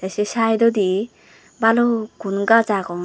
asay site oidi balukun gush aagon.